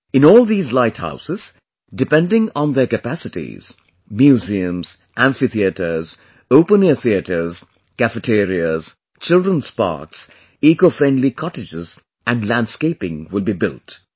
In all these light houses, depending on their capacities, museums, amphitheatres, open air theatres, cafeterias, children's parks, eco friendly cottages and landscaping will bebuilt